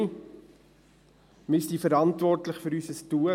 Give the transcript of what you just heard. Wir sind verantwortlich für unser Tun.